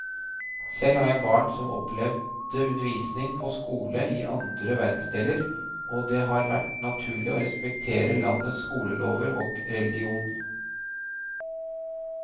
Selv har jeg barn som opplevde undervisning på skole i andre verdensdeler, og det har vært naturlig å respektere landets skolelover og religion.